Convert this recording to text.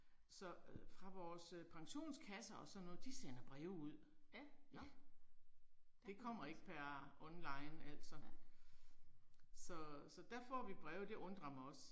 Så øh fra vores øh pensionskasser og sådan noget, de sender breve ud. Ja. Det kommer ikke per online altså. Så så der får vi breve, det undrer mig også